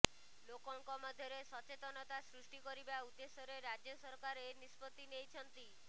ଲୋକଙ୍କ ମଧ୍ୟରେ ସଚେତନତା ସୃଷ୍ଟି କରିବା ଉଦ୍ଦେଶ୍ୟରେ ରାଜ୍ୟ ସରକାର ଏ ନିଷ୍ପତ୍ତି ନେଇଛନ୍ତି